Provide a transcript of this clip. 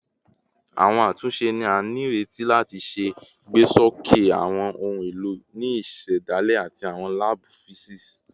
Awọn atunṣe ni a nireti lati ṣe igbesoke awọn ohun elo ni isedale ati awọn laabu fisiksi